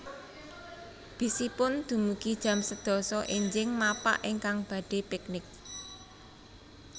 Bis ipun dumugi jam sedasa enjing mapak ingkang badhe piknik